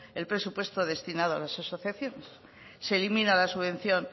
el presupuesto destinado a las asociaciones se elimina la subvención